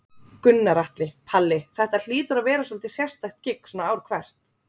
Gunnar Atli: Palli, þetta hlýtur að vera svolítið sérstakt gigg svona ár hvert?